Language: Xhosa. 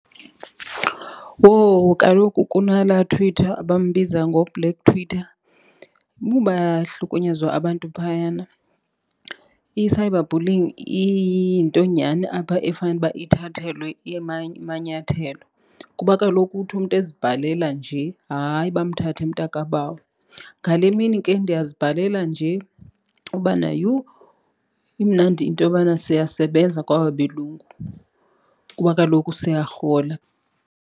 Wowu, kaloku kunalaaTtwitter bambiza ngoBlack Twitter. Yhu bayahlukunyezwa abantu phayana. I-cyber bullying iyinto nyhani apha efanuba ithathelwe amanyathelo, kuba kaloku uthi umntu ezibhalela nje hayi bamthathe mntaka bawo. Ngale mini ke ndiyazibhalela nje ubana, yhu imnandi into yobana siyasebenza kwaba belungu, kuba kaloku siyarhola.